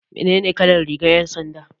Menene kalar rigar 'yan sanda?